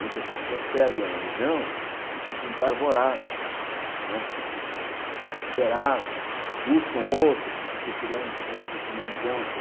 Muitas pessoas perdem a religião e ficam desarvoradas, né ficam desesperadas, buscam outras, ficam procurando sempre o que não encontram.